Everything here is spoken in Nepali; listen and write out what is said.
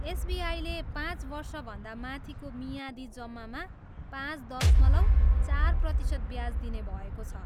एसबिआईले पाँच वर्षभन्दा माथिको मियादी जम्मामा पाँच दशमलव चार प्रतिशत ब्याज दिने भएको छ।